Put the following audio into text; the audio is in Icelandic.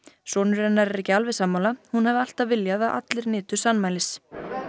sonur hennar er ekki alveg sammála hún hafi alltaf viljað að allir nytu sannmælis